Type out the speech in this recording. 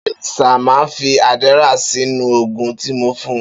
Beni sir, ma fi Adderall Si nu ogún ti mo fún